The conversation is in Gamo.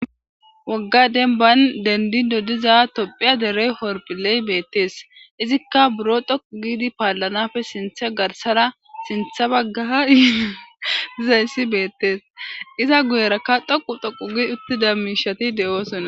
wogga denban dendi dodiza tophiya derey horphiley beettees izikka buro dhoqu giidi paallanafe sinthe garsara sintha bagga i dizayssi beettees iza guyerakka dhoqu thoqu gid uttida miishati de7oosona